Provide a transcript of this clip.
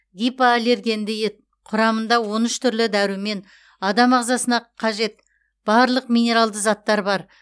гипоаллергенді ет құрамында он үш түрлі дәрумен адам ағзасына қажет барлық минералды заттар бар